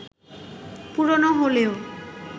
পুরনো হলেও